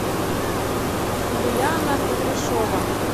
юлиана кудряшова